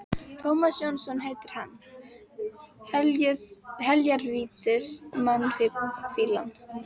Tómas Jónsson heitir hann, heljar vítis mannfýlan.